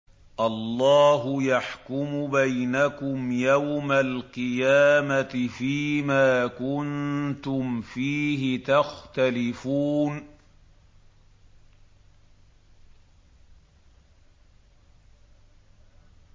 اللَّهُ يَحْكُمُ بَيْنَكُمْ يَوْمَ الْقِيَامَةِ فِيمَا كُنتُمْ فِيهِ تَخْتَلِفُونَ